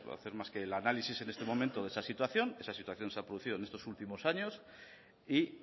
hacer más que el análisis en este momento de esta situación esa situación se ha producido estos últimos años y